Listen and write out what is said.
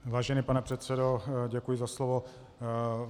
Vážený pane předsedo, děkuji za slovo.